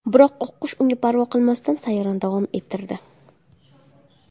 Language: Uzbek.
Biroq oqqush unga parvo qilmasdan, sayrni davom ettirdi.